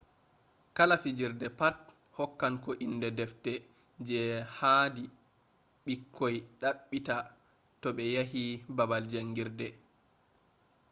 kala fijirde pat hokkan ko inde defte je haadi ɓikkoi ɗabbita to ɓe yehi babal jangirde